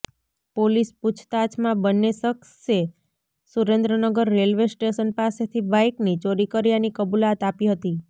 police પૂછતાછમાં બન્ને શખસે સુરેન્દ્રનગર રેલવે સ્ટેશન પાસેથી બાઈકની ચોરી કર્યાની કબૂલાત આપી હતી